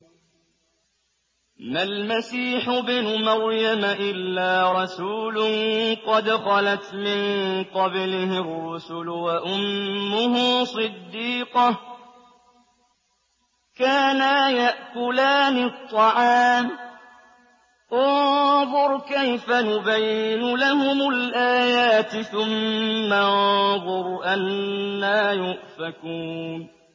مَّا الْمَسِيحُ ابْنُ مَرْيَمَ إِلَّا رَسُولٌ قَدْ خَلَتْ مِن قَبْلِهِ الرُّسُلُ وَأُمُّهُ صِدِّيقَةٌ ۖ كَانَا يَأْكُلَانِ الطَّعَامَ ۗ انظُرْ كَيْفَ نُبَيِّنُ لَهُمُ الْآيَاتِ ثُمَّ انظُرْ أَنَّىٰ يُؤْفَكُونَ